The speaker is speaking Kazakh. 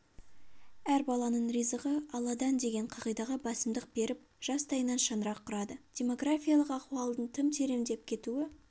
әр баланың ризығы алладан деген қағидаға басымдық беріп жастайынан шаңырақ құрады демографиялық ахуалдың тым тереңдеп кетуі